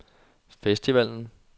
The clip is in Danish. festivalen